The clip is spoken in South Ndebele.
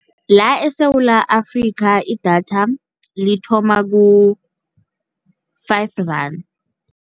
La eSewula Afrika idatha lithoma ku-five rand.